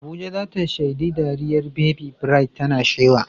Abuja za ta shaidi dariyar Baby Bright tana shewa.